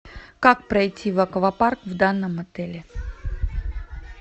как пройти в аквапарк в данном отеле